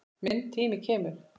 Minn tími kemur.